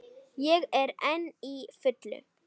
Ég er enn á fullu.